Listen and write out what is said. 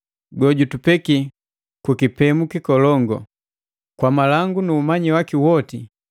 gojutupeki ku kipemu kikolongu! Kwa malangu nu umanyi waki woti,